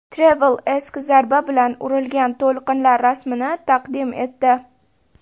Travel Ask zarb bilan urilgan to‘lqinlar rasmini taqdim etdi.